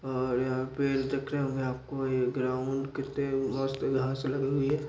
और यहाँ पे आपको ये ग्राउंड किते मस्त यहाँ से लगेंगे |